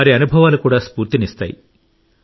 వారి అనుభవాలు కూడా స్ఫూర్తినిస్తాయి